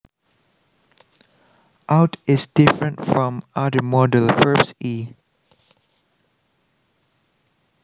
Ought is different from other modal verbs e